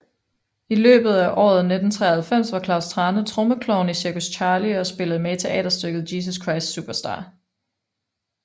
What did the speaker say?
I løbet af året 1993 var Klaus Thrane trommeklovn i Cirkus Charlie og spillede med i teaterstykket Jesus Christ Superstar